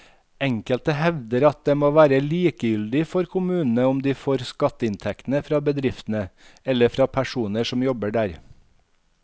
Enkelte hevder at det må være likegyldig for kommunene om de får skatteinntektene fra bedriftene eller fra personene som jobber der.